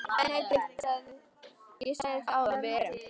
BENEDIKT: Ég sagði það áðan: Við erum.